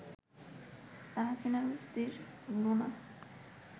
তাহসিনা রুশদীর লুনা